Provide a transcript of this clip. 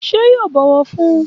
Ṣé yóò bọwọ fún?